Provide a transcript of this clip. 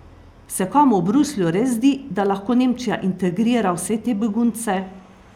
Se komu v Bruslju res zdi, da lahko Nemčija integrira vse te begunce?